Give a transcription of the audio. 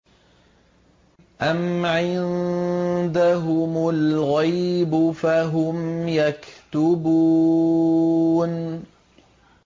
أَمْ عِندَهُمُ الْغَيْبُ فَهُمْ يَكْتُبُونَ